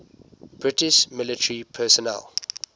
british military personnel